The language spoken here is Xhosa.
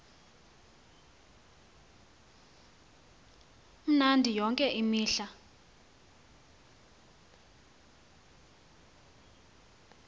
mnandi yonke imihla